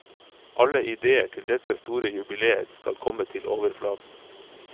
Alle idéer til dette store jubiléet skal komme til overflaten.